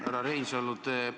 Härra Reinsalu!